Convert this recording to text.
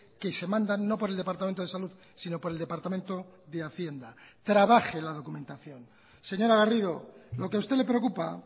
que se mandan no por el departamento de salud sino por el departamento de hacienda trabaje la documentación señora garrido lo que a usted le preocupa